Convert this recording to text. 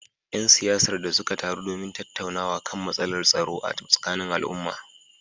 ‘Yan siyasar da suka taru domin tattaunawa kan matsalar tsaro a tsakanin al’umma